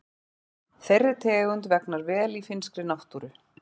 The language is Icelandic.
Þeirri tegund vegnar vel í finnskri náttúru.